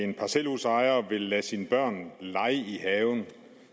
at en parcelhusejer vil lade sine børn lege i haven